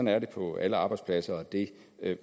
er det på alle arbejdspladser og det